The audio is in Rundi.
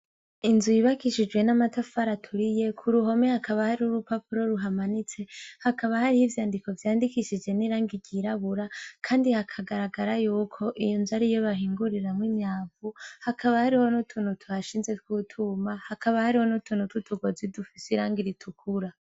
Inzu yubakishijwe n'amatafari aturiye; ku ruhome hakaba hari urupapuro ruhamanitse, hakaba hariho ivyandiko vyandikishije n'irangi ryirabura. Kandi hakagaragara y'uko iyo nzo ari iyo bahinguriramwo imyavu; Hakaba hariho n'utuntu tuhashinze tw'utwuma. Hakaba hariho n'utuntu tw'utugozi dufise irangi ritukura.